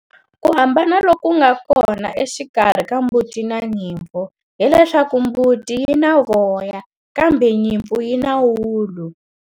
Ku hambana loku nga kona exikarhi ka mbuti na nyimpfu, hileswaku mbuti yi na voya, kambe nyimpfu yi na ulu.